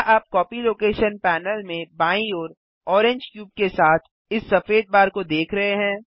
क्या आप copy location panel में बाईं ओर ओरेंज क्यूब के साथ इस सफ़ेद बार को देख रहे हैं